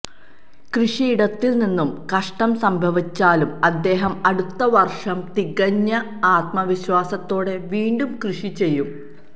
കൃഷിയിടത്തില് നിന്നും നഷ്ടം സംഭവിച്ചാലും അദ്ദേഹം അടുത്ത വര്ഷം തികഞ്ഞ ആത്മവിശ്വാസത്തോടെ വീണ്ടും കൃഷി ചെയ്യും